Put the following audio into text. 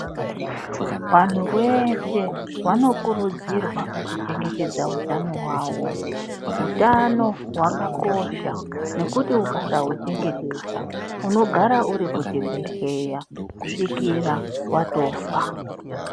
Vanthu veshe vanokurudzirwa kuchengetedza hutano hwavo hutano hwakakosha nekuti ukasahuchengetedza unogara uri kuchibhedhlera kusvikira watofa .